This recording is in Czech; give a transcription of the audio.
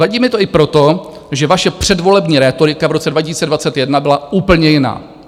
Vadí mi to i proto, že vaše předvolební rétorika v roce 2021 byla úplně jiná.